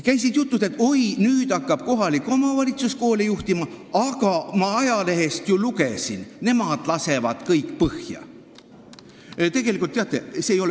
Käisid jutud, et oi, nüüd hakkab kohalik omavalitsus koole juhtima, aga ma ajalehest ju lugesin, et nemad lasevad kõik põhja.